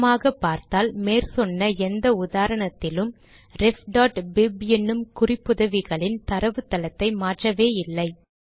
கவனமாக பார்த்தால் மேற்சொன்ன எந்த உதாரணத்திலும் refபிப் என்னும் குறிப்புதவிகளின் தரவுத்தளத்தை மாற்றவே இல்லை